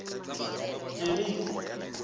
jeriko